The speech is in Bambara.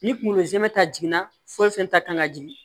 Ni kungolo zɛmɛ ta jiginna foyi fɛn ta kan ka jigin